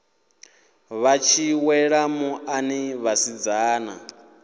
vha tshi wela muḽani vhasidzana